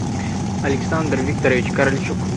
александр викторович каральчук